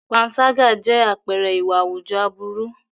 Panṣágà jẹ́ àpẹẹrẹ ìwà àwùjọ aburú.